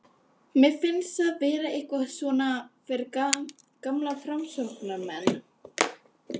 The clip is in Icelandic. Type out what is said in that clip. Mér finnst það vera eitthvað svona fyrir gamla framsóknarmenn.